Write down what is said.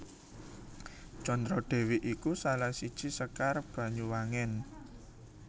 Condro Dewi iku salah siji Sekar Banyuwangen